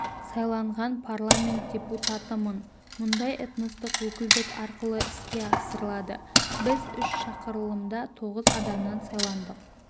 сайланған парламент депутатымын мұндай этностық өкілдік арқылы іске асырылады біз үш шақырылымда тоғыз адамнан сайландық